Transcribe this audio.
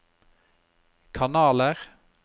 kanaler